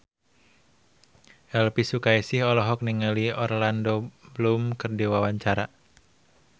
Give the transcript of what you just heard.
Elvi Sukaesih olohok ningali Orlando Bloom keur diwawancara